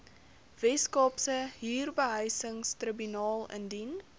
weskaapse huurbehuisingstribunaal indien